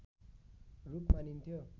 रूप मानिन्थ्यो